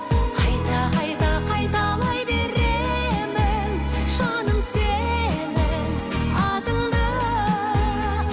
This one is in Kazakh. қайта қайта қайталай беремін жаным сенің атыңды